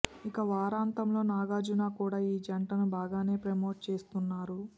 ఇక వారాంతంలో నాగార్జున కూడా ఈ జంటను బాగానే ప్రమోట్ చేస్తున్నారు